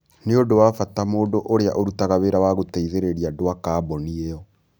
Nĩ ũndũ wa bata mũndũ ũrĩa ũrutaga wĩra wa gũteithĩrĩria andũ a kambuni ĩyo,